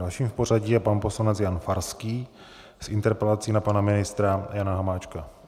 Dalším v pořadí je pan poslanec Jan Farský s interpelací na pana ministra Jana Hamáčka.